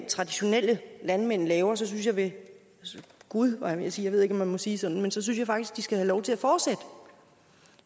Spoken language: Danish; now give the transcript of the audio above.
traditionelle landmænd laver så synes jeg ved gud var jeg ved at sige jeg ved ikke om man må sige sådan altså så synes jeg faktisk de skal have lov til at fortsætte